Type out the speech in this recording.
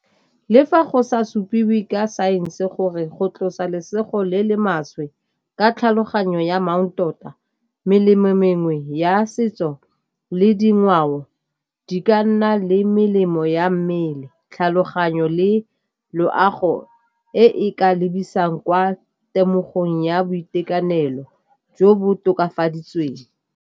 Le fa go sa supiwe ka saense gore go tlosa lesego le le maswe ka tlhaloganyo ya melemo mengwe ya setso le dingwao di ka nna le melemo ya mmele, tlhaloganyo le loago e ka lebisang kwa temogo eng ya boitekanelo jo bo tokafaditsweng.